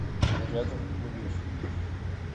рядом рубеж